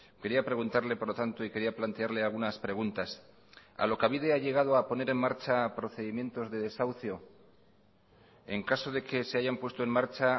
quería preguntarle por lo tanto y quería plantearle algunas preguntas alokabide ha llegado a poner en marcha procedimientos de desahucio en caso de que se hayan puesto en marcha